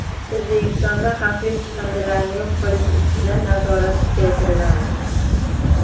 O‘zbekistonda xavfli chiqindilarni yo‘q qilish ustidan nazorat kuchaytiriladi.